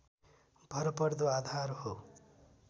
भरपर्दो आधार हो